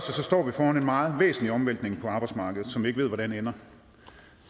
står vi foran en meget væsentlig omvæltning på arbejdsmarkedet som vi ikke ved hvordan ender